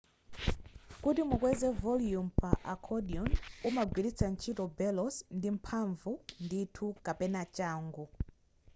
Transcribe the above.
kuti mukweze volume pa accordion umagwiritsa ntchito bellows ndi mphamvu ndithu kapena changu